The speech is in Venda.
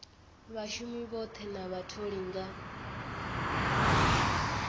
vhashumi vhoṱhe na vhatholi nga